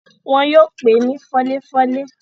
wọn yóò pé ni fọ́léfọ́lé.